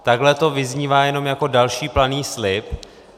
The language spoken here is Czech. Takhle to vyznívá jenom jako další planý slib.